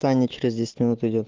таня через десять минут идёт